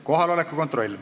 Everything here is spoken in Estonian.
Kohaloleku kontroll.